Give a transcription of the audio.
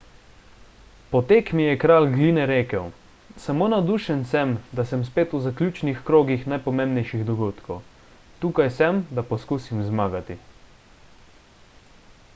po tekmi je kralj gline rekel samo navdušen sem da sem spet v zaključnih krogih najpomembnejših dogodkov tukaj sem da poskusim zmagati